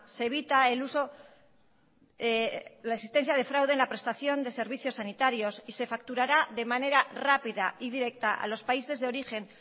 se evita el uso la existencia de fraude en la prestación de servicios sanitarios y se facturará de manera rápida y directa a los países de origen